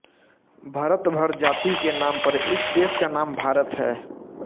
भरत भर जाती के नाम पर इस देश का नाम भारत है